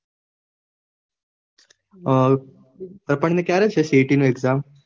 અ દર્પણ ને ક્યારે છે CAT નું exam?